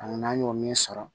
Ani n'an y'o min sɔrɔ